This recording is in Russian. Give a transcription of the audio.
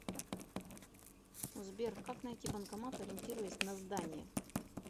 сбер как найти банкомат ориентируясь на здание